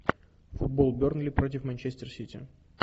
футбол бернли против манчестер сити